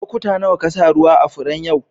Lokuta nawa ka sa ruwa a'furen yau?